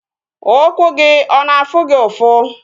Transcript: Ụkwụ gị ọ na-afụ gị ụfụ?